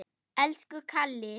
Elsku Kalli.